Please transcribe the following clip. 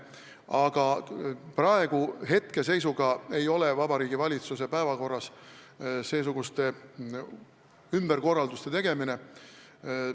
Aga hetkeseisuga ei ole seesuguste ümberkorralduste tegemine Vabariigi Valitsuse päevakorras.